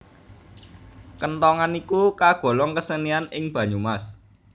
Kenthongan iku kagolong kesenian ing Banyumas